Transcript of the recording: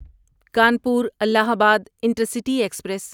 Kanpur Allahabad intercity express